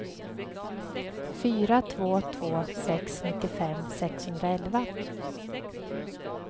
fyra två två sex nittiofem sexhundraelva